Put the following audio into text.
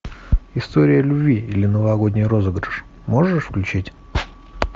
история любви или новогодний розыгрыш можешь включить